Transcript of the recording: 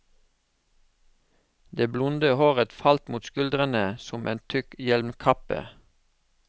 Det blonde håret falt mot skuldrene som en tykk hjelmkappe.